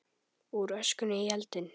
Úr öskunni í eldinn